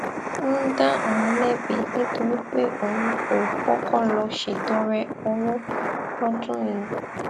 ń dá òun lébi nítorí pé òun kò kókó lọ ṣètọrẹ owó lódún yìí